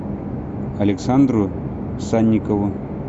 александру санникову